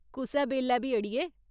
कुसै बेल्लै बी अड़िये।